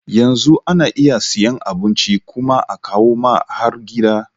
Yanzu ana iya siyan abinci kuma akawu ma har gida